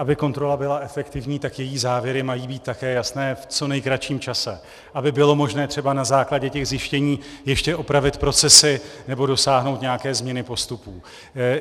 Aby kontrola byla efektivní, tak její závěry mají být také jasné v co nejkratším čase, aby bylo možné třeba na základě těch zjištění ještě opravit procesy nebo dosáhnout nějaké změny postupů.